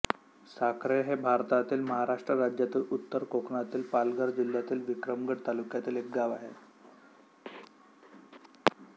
साखरे हे भारतातील महाराष्ट्र राज्यातील उत्तर कोकणातील पालघर जिल्ह्यातील विक्रमगड तालुक्यातील एक गाव आहे